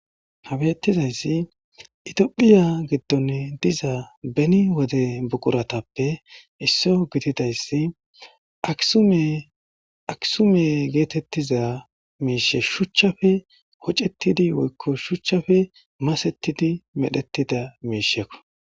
Habettizayssi itiphiya giddon diza beni wode buquratappe isso gididayssi aksume geetettiza miishe shuchchafe hocettidi woykko shuchchafe masetidi medhettida miishekko.